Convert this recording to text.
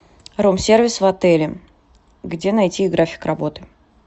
рум сервис в отеле где найти график работы